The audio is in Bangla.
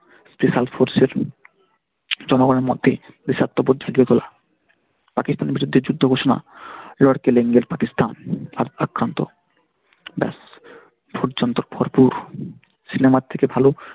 Special Force এর জনগণের মধ্যে বিষাক্ত বোধ ঢুকে গেল পাকিস্তানের বিরুদ্ধে যুদ্ধ ঘোষণা পাকিস্তানে আক্রান্ত ব্যাস সিনেমার থেকে ভালো।